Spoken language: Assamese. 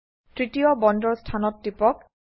তৃতীয় বন্দৰ স্থানত টিপক